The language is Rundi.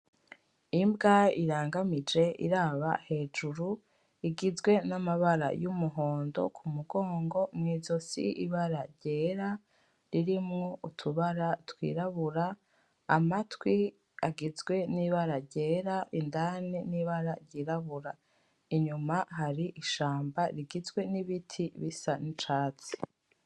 Imbwa irangamije iraba hejuru; igizwe n'amabara y'umuhondo ku mugongo. Mw'izosi, ibara ryera ririmwo utubara twirabura. Amatwi agizwe n'ibara ryera indani n'ibara ryirabura. Inyuma hari ishamba rigizwe n'ibiti bisa n'icatsi.